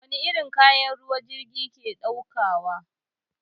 Wani irin kaya jirgin ruwa ke ɗaukawa?